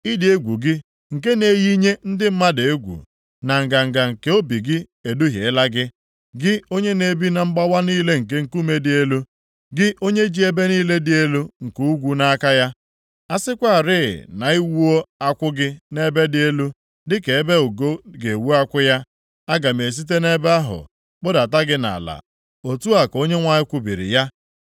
Ịdị egwu gị nke na-eyinye ndị mmadụ egwu, na nganga nke obi gị eduhiela gị, gị onye na-ebi na mgbawa niile nke nkume dị elu, gị onye ji ebe niile dị elu nke ugwu nʼaka ya. A sịkwarị na i wuo akwụ gị nʼebe dị elu, dịka ebe ugo ga-ewu akwụ ya, aga m esite nʼebe ahụ kpụdata gị nʼala, otu a ka Onyenwe anyị kwubiri ya.